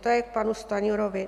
To je k panu Stanjurovi.